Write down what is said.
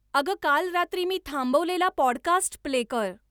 अगं काल रात्री मी थांबवलेला पॉडकास्ट प्ले कर